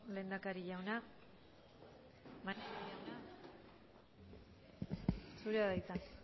lehendakaria jauna maneiro jauna zurea da hitza